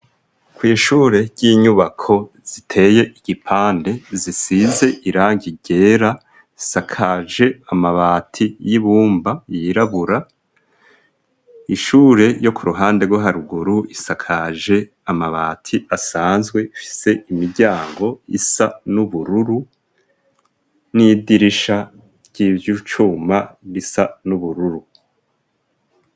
Kw'ishure ry'inyubako ziteye igipande, zisize irangi ryera ,isakaje amabati y'ibumba yirabura, ishure ryo ku ruhande rwo haruguru isakaje amabati asanzwe afise imiryango isa n'ubururu n'idirisha ry'ivyucuma risa n'ubururu.